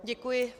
Děkuji.